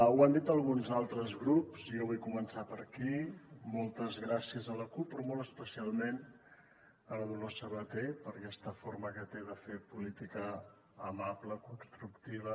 ho han dit alguns altres grups i jo vull començar per aquí moltes gràcies a la cup però molt especialment a la dolors sabater per aquesta forma que té de fer política amable constructiva